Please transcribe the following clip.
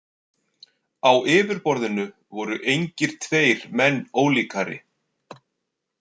Á yfirborðinu voru engir tveir menn ólíkari.